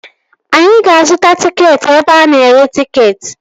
Anyị ga-azuta tịketị ebe ana ere tịketị